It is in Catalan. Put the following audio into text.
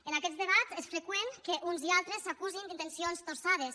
en aquests debats és freqüent que uns i altres s’acusin d’intencions torçades